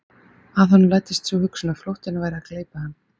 Að honum læddist sú hugsun að flóttinn væri að gleypa hann.